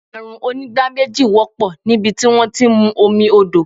Àrùn onígbá méjì wọ́pọ̀ nibiti wón ti ń mú omi odò.